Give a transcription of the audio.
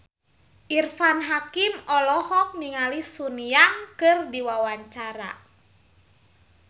Irfan Hakim olohok ningali Sun Yang keur diwawancara